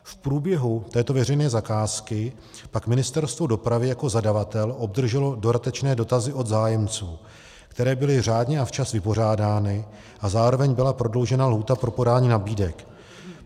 V průběhu této veřejné zakázky pak Ministerstvo dopravy jako zadavatel obdrželo dodatečné dotazy od zájemců, které byly řádně a včas vypořádány, a zároveň byla prodloužena lhůta pro podání nabídek.